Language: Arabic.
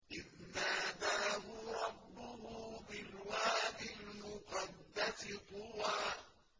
إِذْ نَادَاهُ رَبُّهُ بِالْوَادِ الْمُقَدَّسِ طُوًى